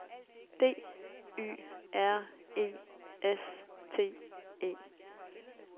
D Y R E S T E